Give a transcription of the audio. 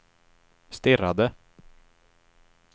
stirrade